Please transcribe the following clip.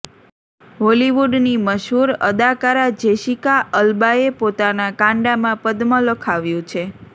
હોલિવૂડની મશહુર અદાકારા જેસિકા અલ્બાએ પોતાના કાંડામા પદ્મ લખાવ્યું છે